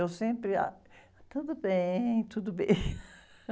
Eu sempre, ah, tudo bem, tudo bem.